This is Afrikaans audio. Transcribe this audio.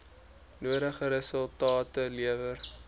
nodige resultate lewer